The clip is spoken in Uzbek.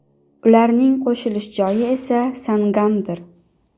Ularning qo‘shilish joyi esa Sangamdir.